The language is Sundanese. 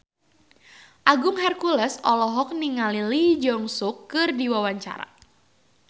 Agung Hercules olohok ningali Lee Jeong Suk keur diwawancara